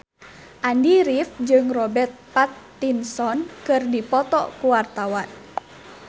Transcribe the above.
Andy rif jeung Robert Pattinson keur dipoto ku wartawan